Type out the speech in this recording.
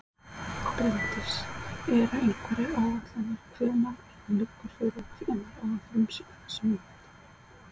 Bryndís: Eru einhverjar áætlanir hvenær eða liggur fyrir hvenær á að frumsýna þessa mynd?